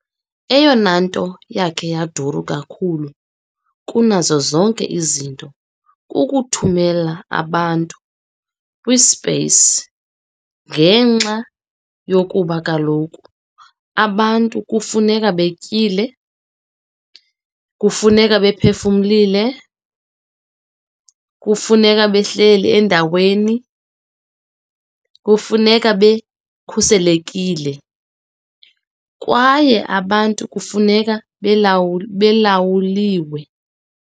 Eyonanto yakhe yaduru kakhulu kunazo zonke izinto kukuthumela abantu kwi-space, ngenxa yokuba kaloku abantu kufuneka betyile, kufuneka bephefumlile, kufuneka behleli endaweni, kukwafuneka bekhuselekile, kwaye abantu kufuneka belawuliwe.